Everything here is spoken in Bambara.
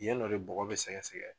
Yen nɔ de bɔgɔ be sɛgɛsɛgɛ